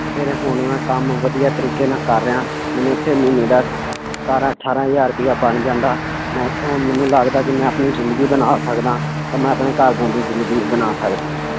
ਫਿਰ ਹੁਣ ਮੈਂ ਕੰਮ ਵਧੀਆ ਤਰੀਕੇ ਨਾਲ ਕਰ ਰਿਹਾਂ ਮੈਨੂੰ ਇੱਥੇ ਮਹੀਨੇ ਦਾ ਸਤਾਰਾਂ ਅਠਾਰਾਂ ਹਜ਼ਾਰ ਰੁਪਇਆ ਬਣ ਜਾਂਦਾ, ਮੈਂ ਇੱਥੋਂ ਮੈਨੂੰ ਲੱਗਦਾ ਵੀ ਮੈਂ ਆਪਣੀ ਜ਼ਿੰਦਗੀ ਬਣਾ ਸਕਦਾਂ ਤਾਂ ਮੈਂ ਆਪਣੇ ਘਰਦਿਆਂ ਦੀ ਜ਼ਿੰਦਗੀ ਬਣਾ ਸਕਦਾਂ।